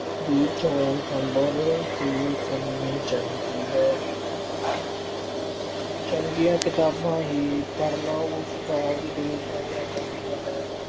ਦੀ ਚੋਣ ਸੰਭਲ ਕੇ ਕਰਨੀ ਚਾਹੀਦੀ ਹੈ। ਚੰਗੀਆਂ ਕਿਤਾਬਾਂ ਪੜ੍ਹਨਾ ਹੀ ਉਸ ਦਾ ਉਦੇਸ਼ ਹੋਣਾ ਚਾਹੀਦਾ ਹੈ।